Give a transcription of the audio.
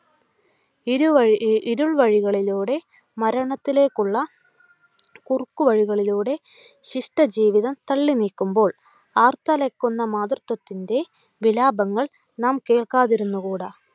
ഇരുവഴി ഇരുൾ വഴികളിലൂടെ മരണത്തിലേക്കുള്ള കുറുക്കു വഴികളിലൂടെ ശിഷ്ടജീവിതം തള്ളി നീക്കുമ്പോൾ ആർത്തലക്കുന്ന മാതൃത്വത്തിൻ്റെ വിലാപങ്ങൾ നാം കേൾക്കാതിരുന്നുകൂടാ.